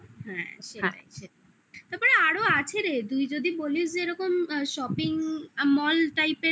তারপরে আরো আছে রে তুই যদি বলিস যে এরকম shopping mall type